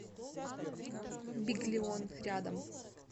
биглион рядом